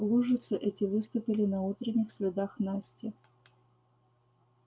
лужицы эти выступили на утренних следах насти